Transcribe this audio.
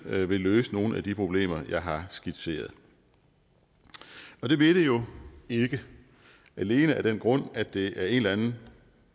vil løse nogen af de problemer jeg har skitseret og det vil det jo ikke alene af den grund at det af en eller anden